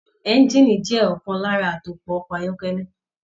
Engiini jẹ ọkan lára atopọ̀ ọkọ ayọkẹlẹ.